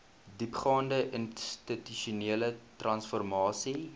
diepgaande institusionele transformasie